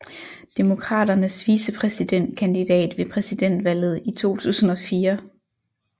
Demokraternes vicepræsidentkandidat ved præsidentvalget i 2004